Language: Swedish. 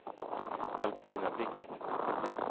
Albertina Blixt